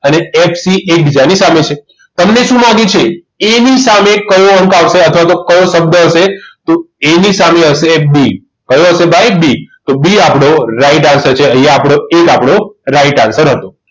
અને FC એકબીજાની સામે છે તમને શું માગે છે A ની સામે કયો અંક આવશે અથવા તો કયો શબ્દ હશે તો A ની સામે હશે B હવે આવશે ભાઈ B તો B આપણો right answer છે